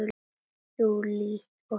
Júlí Ósk.